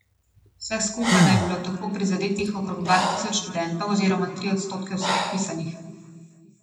Vseh skupaj naj bi bilo tako prizadetih okrog dva tisoč študentov oziroma tri odstotke vseh vpisanih.